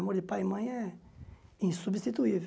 O amor de pai e mãe é insubstituível.